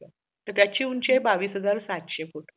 तर त्याची उंची आहे बावीस हजार सातशे फुट